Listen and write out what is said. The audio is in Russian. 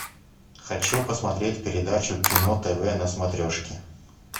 хочу посмотреть передачу кино тв на смотрешке